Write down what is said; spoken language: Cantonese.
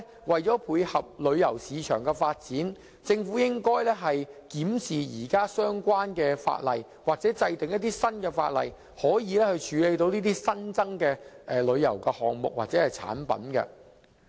為配合旅遊市場的發展，我相信政府亦應檢視現有相關法例或制定新法例，以處理這些新增的旅遊項目或產品。